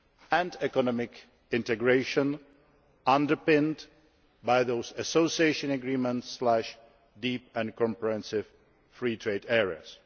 and economic integration underpinned by those association agreements deep and comprehensive free trade areas.